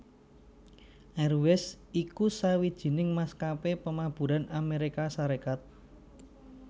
Airways iku sawijining maskapé pamaburan Amérika Sarékat